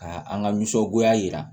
Ka an ka nisɔngoya yira